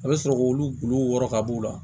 A bɛ sɔrɔ k'olu wɔrɔ ka b'u la